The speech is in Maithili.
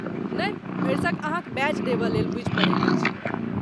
नहि, भरिसक अहाँक बैज देबयलेल बूझि पड़ैत अछि।